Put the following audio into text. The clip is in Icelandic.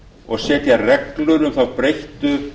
og setja reglur um þá breyttu